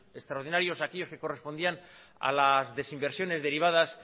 extraordinarios aquellos que correspondían a las desinversiones derivadas